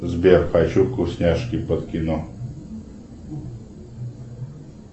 сбер хочу вкусняшки под кино